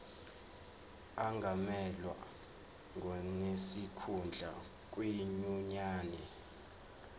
angamelwa ngonesikhundla kwinyunyane